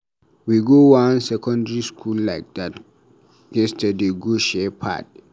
We go wan secondary school like dat yesterday go share pad.